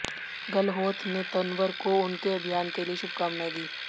गहलोत ने तंवर को उनके अभियान के लिए शुभकामनाएं दी